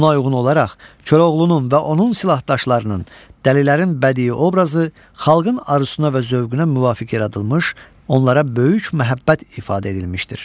Buna uyğun olaraq, Koroğlunun və onun silahdaşlarının, dəlilərin bədii obrazı xalqın arzusuna və zövqünə müvafiq yaradılmış, onlara böyük məhəbbət ifadə edilmişdir.